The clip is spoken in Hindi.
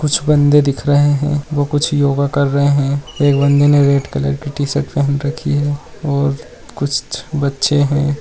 कुछ बंदे दिख रहे है वो कुछ योगा कर रहे है एक बंदे ने रेड कलर की टी-शर्ट पहन रखी है और कुछ बच्चे है।